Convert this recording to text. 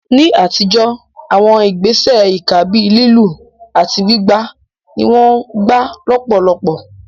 Ní àtijọ́, àwọn ìgbésẹ̀ ìkà bíi lílù àti gbígbá ni wọ́n gbà lọ́pọ̀lọpọ̀.